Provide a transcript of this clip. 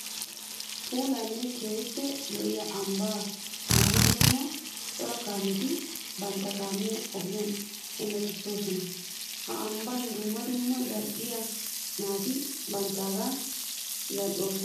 Puullanne keehippe lo'iya ambba dumma dumma cora kaametti bantta kaamiya ogiyan hemettosonna. Ha ambban dumma dumma zali'iya naati banttaga zali'osonna.